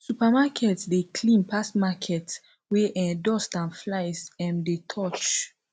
supermarket de clean pass market wey um dust and flies um dey touch